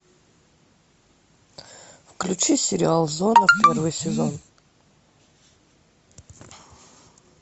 включи сериал зона первый сезон